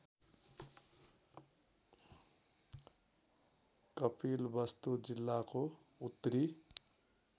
कपिलवस्तु जिल्लाको उत्तरी